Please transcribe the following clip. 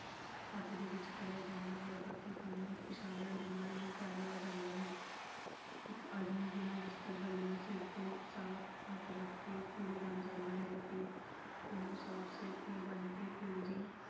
ਹੱਥ ਦੇ ਵਿੱਚ ਫੜਿਆ ਜਾਂਦਾ ਹੈ ਬਾਕੀ ਕੰਮ ਇਸ਼ਾਰਿਆਂ ਦੇ ਨਾਲ ਹੀ ਕਰ ਲਿਆ ਜਾਂਦਾ ਹੈ। ਇੱਕ ਆਦਮੀ ਬਿਨ੍ਹਾਂ ਬਸਤਰ ਬੰਨਿਆਂ ਸਿਰ ਤੇ ਸਾਫ ਪੱਗ ਰੱਖ ਕੇ ਕੁੜੀ ਵੱਲ ਜਾਂਦਾ ਹੈ। ਫਿਰ ਉਹ ਸਿਰ ਤੇ ਬੰਨ ਕੇ ਪਿਓ ਦੇ